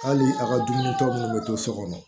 Hali a ka dumuni kɛ minnu bɛ to so kɔnɔ